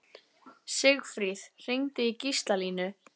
Sigfríð, hringdu í Gíslalínu.